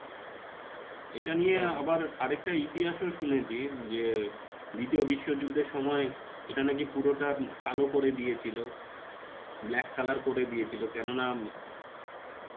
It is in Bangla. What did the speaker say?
এটা নিয়ে আবার একটা ইতিহাসও শুনেছি যে, দ্বিতীয় বিশ্বযুদ্ধের সময় একটা নাকি পুরোটা কালো করে দিয়েছিলো. black color করে দিয়েছিলো কেননা ইয়া